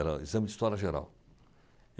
Era o exame de História Geral.